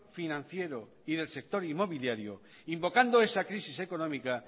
financiero y del sector inmobiliario invocando esa crisis económica